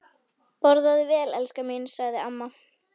Borðaðu vel, elskan mín sagði amma.